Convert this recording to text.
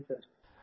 हाँ जी सर